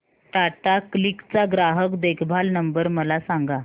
Tata Cliq चा ग्राहक देखभाल नंबर मला सांगा